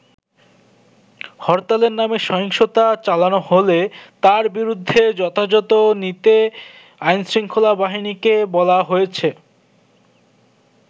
হরতালের নামে সহিংসতা চালানো হলে তার বিরুদ্ধে যথাযথ নিতে আইনশৃঙ্খলা বাহিনীকে বলা হয়েছে।